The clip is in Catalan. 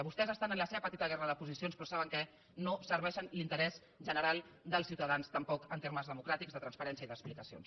vostès estan en la seva petita guerra de posicions però saben què no serveixen l’interès general dels ciutadans tampoc en termes democràtics de transparència i d’explicacions